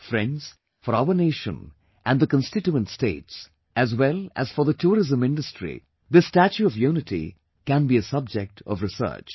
Friends, for our nation and the constituent states, as well as for the tourism industry, this 'Statue of Unity' can be a subject of research